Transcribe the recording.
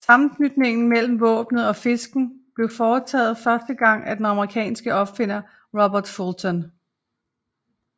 Sammenknytningen mellem våbnet og fisken blev foretaget første gang af den amerikanske opfinder Robert Fulton